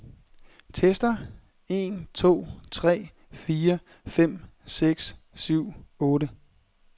Tester en to tre fire fem seks syv otte.